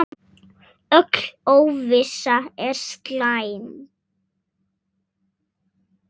Öll óvissa er slæm.